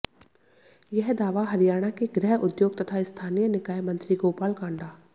यह दावा हरियाणा के गृह उद्योग तथा स्थानीय निकाय मंत्री गोपाल कांडा